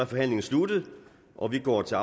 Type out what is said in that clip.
forhandlingen sluttet og vi går til